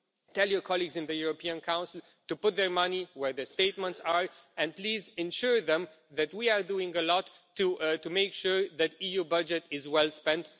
Tell your colleagues in the European Council to put their money where their statements are, and please assure them that we are doing a lot to make sure that the EU budget is well spent.